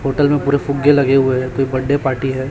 Hotel में पूरे फुग्गे लगे हुए हैं कोई बड्डे पार्टी है।